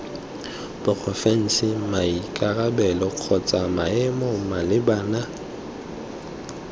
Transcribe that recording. porofense maikarabelo kgotsa maemo malebana